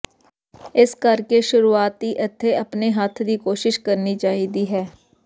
ਇਸ ਕਰਕੇ ਸ਼ੁਰੂਆਤ ਇੱਥੇ ਆਪਣੇ ਹੱਥ ਦੀ ਕੋਸ਼ਿਸ਼ ਕਰਨੀ ਚਾਹੀਦੀ ਹੈ